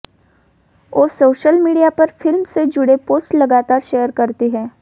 वो social media पर film से जुड़े पोस्ट लगातार शेयर करती हैं